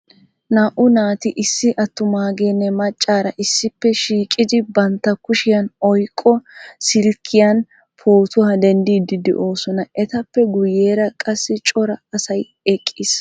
Naa"u naati issi attumageenne maccaara issippe shiiqidi bantta kushiyan oyqqo silkkiyan pootuwaa denddiidi de'oosona. Etappe guyyeera qassi coray asay eqqiis.